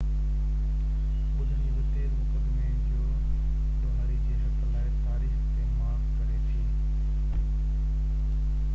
ٻُڌڻي بہ تيز مقدمي جو ڏوهاري جي حق لاءِ تاريخ تي مارڪ ڪري ٿي